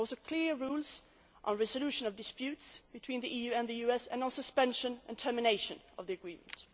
data. There are also clear rules on the resolution of disputes between the EU and the US and on suspension and termination of the agreement.